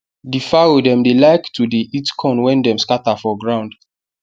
the fowl dem dey like to dey eat corn wen dem scatter for ground